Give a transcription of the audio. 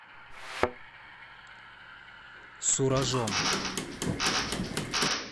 суражом